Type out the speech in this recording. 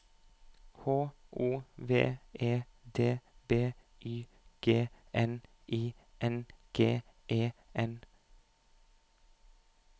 H O V E D B Y G N I N G E N